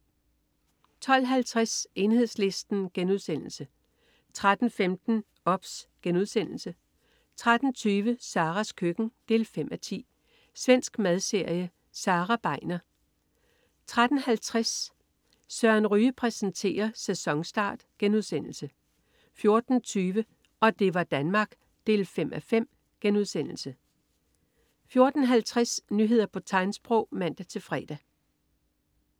12.50 Enhedslisten* 13.15 OBS* 13.20 Saras køkken 5:10. Svensk madserie. Sara Begner 13.50 Søren Ryge præsenterer. Sæsonstart* 14.20 Og det var Danmark ... 5:5* 14.50 Nyheder på tegnsprog (man-fre)